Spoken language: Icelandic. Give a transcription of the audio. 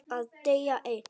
Að deyja einn.